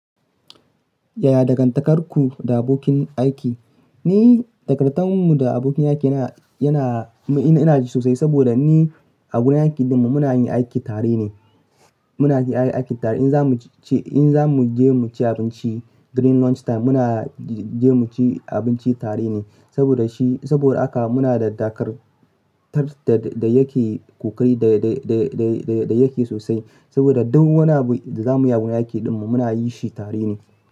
Yaya dangantakarku da abokin aiki? Ni dangantarmu da abokin aiki yana, yana, yana sosai saboda ni a wurin aiki dinmu muna yin aiki tare ne. Muna yi aiki tare in za mu ci, in za mu je mu ci abinci during lunch time muna je mu ci abinci tare ne. Saboda shi, saboda haka muna da dakartar da, da yake ƙoƙari da, da, da, da, da yake sosai. Saboda duk wani abu da za mu yi a wurin aiki dinmu muna yi shi tare ne.